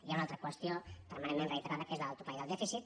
hi ha una altra qüestió permanentment reiterada que és la del topall del dèficit